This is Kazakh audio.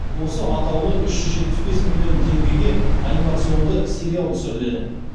осы атаулы үш жүз жетпіс бес миллион теңгеге анимационды сериал түсіріледі